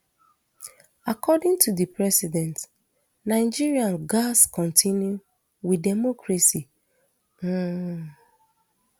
according to di president nigeria gatz continue wit democracy um